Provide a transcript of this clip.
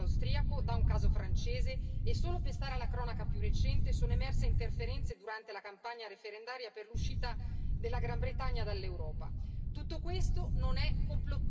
Il caso italiano è stato preceduto da un caso austriaco, da un caso francese e, solo per stare alla cronaca più recente, sono emerse interferenze durante la campagna referendaria per l'uscita della Gran Bretagna dall'Europa.